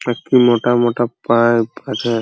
একটি মোটা মোটা পাইপ আছে।